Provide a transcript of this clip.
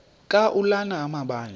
ka ulana amabandla